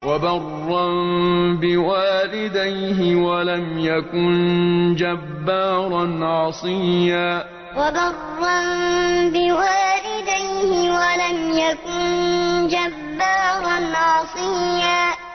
وَبَرًّا بِوَالِدَيْهِ وَلَمْ يَكُن جَبَّارًا عَصِيًّا وَبَرًّا بِوَالِدَيْهِ وَلَمْ يَكُن جَبَّارًا عَصِيًّا